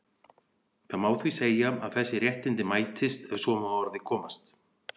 Það má því segja að þessi réttindi mætist, ef svo má að orði komast.